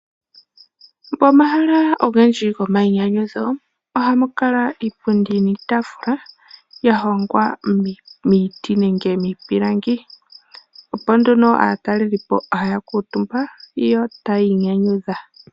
Pomahala ogendji gomainyanyudho ohapu kala iipundi niitaafula yahongwa miiti nenge miipilangi. Opo aatalelipo hayakuutumba yo taya inyanyudha.